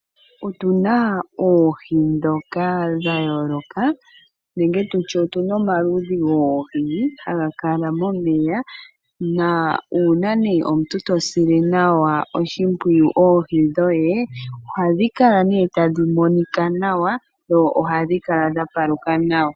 Otu na oohi ndhoka dha yooloka nenge tu tye otu na omaludhi goohi haga kala momeya. Uuna omuntu to sile nawa oshimpwiyu oohi dhoye ohadhi kala tadhi monika nawa, dho ohadhi kala dha paluka nawa.